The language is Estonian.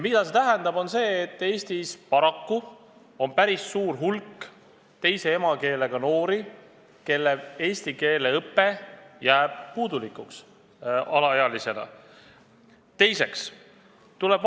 See tähendab seda, et Eestis on paraku päris suur hulk teise emakeelega noori, kes alaealistena saavad puudulikku eesti keele õpet.